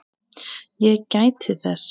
Ég gæti þess.